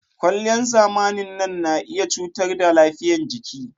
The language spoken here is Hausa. Kwalliyan zamanin nan na iya cutar da lafiyan jiki